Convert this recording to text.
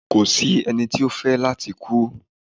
Ko si ẹni ti o fẹ lati kú